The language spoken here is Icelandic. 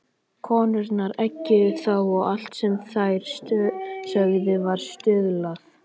Konurnar eggjuðu þá og allt sem þær sögðu var stuðlað.